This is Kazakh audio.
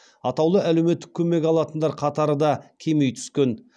атаулы әлеуметтік көмек алатындар қатары да кеми түскен